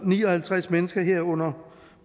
og ni og halvtreds mennesker herunder